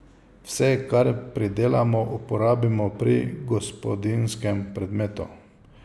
Vse, kar pridelamo, uporabimo pri gospodinjskem predmetu.